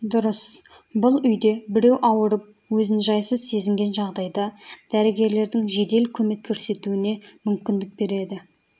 дұрыс бұл үйде біреу ауырып өзін жайсыз сезінген жағдайда дәрігерлердің жедел көмек көрсетуіне мүмкіндік береді